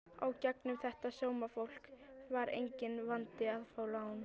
Í gegnum þetta sómafólk var enginn vandi að fá lán.